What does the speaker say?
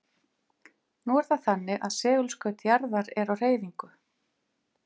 Nú er það þannig að segulskaut jarðar er á hreyfingu.